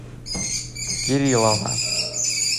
кириллова